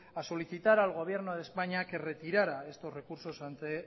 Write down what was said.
a solicitar al gobierno de españa que retirara estos recursos ante el